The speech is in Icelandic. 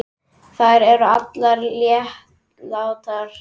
Þær eru allar látnar.